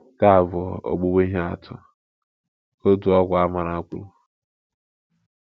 Nke a bụ ‘ ogbugbu ihe atụ, ’ ka otu ọkwa a mara kwu